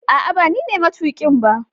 ah ah banine matukin ba